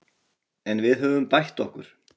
En við höfum bætt okkur